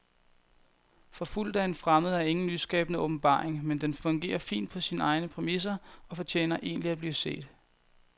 Forfulgt af en fremmed er ingen nyskabende åbenbaring, men den fungerer fint på sine egne præmisser og fortjener egentlig at blive set.